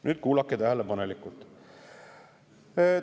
Nüüd kuulake tähelepanelikult!